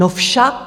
No však!